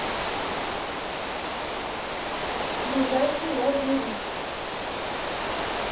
ближайший лазурит